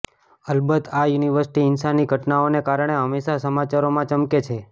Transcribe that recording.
અલબત્ત આ યુનિવર્સિટી હિંસાની ઘટનાઓને કારણે હંમેશા સમાચારોમાં ચમકે છે